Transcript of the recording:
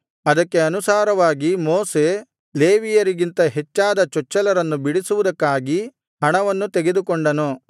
ಅದಕ್ಕೆ ಅನುಸಾರವಾಗಿ ಮೋಶೆ ಲೇವಿಯರಿಗಿಂತ ಹೆಚ್ಚಾದ ಚೊಚ್ಚಲರನ್ನು ಬಿಡಿಸುವುದಕ್ಕಾಗಿ ಹಣವನ್ನು ತೆಗೆದುಕೊಂಡನು